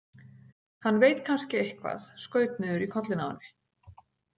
Hann veit kannski eitthvað, skaut niður í kollinn á henni.